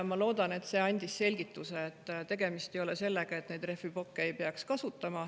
Ma loodan, et ma selgitasin ära, et tegemist ei ole sellega, et neid rehviplokke ei peaks kasutama.